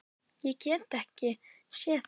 Ég get ekki séð það.